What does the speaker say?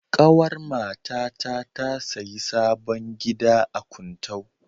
Ƙawar matata ta sayi sabon gida a Kuntau.